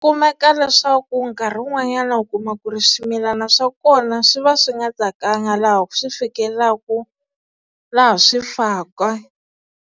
Kumeka leswaku nkarhi wun'wanyana u kuma ku ri swimilana swa kona swi va swi nga tsakanga laha swi fikelelaka laha swi faka.